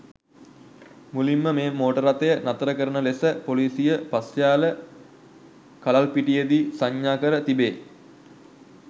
මුලින්ම මේ මෝටර් රථය නතර කරන ලෙස පොලිසිය පස්යාල කලල්පිටියේදී සංඥා කර තිබේ.